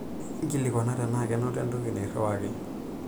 Nkilikuana tenaa kenoto entoki nairiwaka.